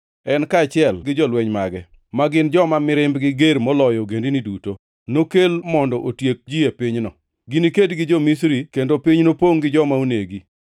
En kaachiel gi jolweny mage, ma gin joma mirimbgi ger moloyo ogendini duto, nokel mondo otiek ji e pinyno. Giniked gi jo-Misri kendo piny nopongʼ gi joma onegi.